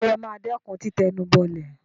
ǹjẹ́ ẹ ma dẹ́kun títẹnubọlẹ̀?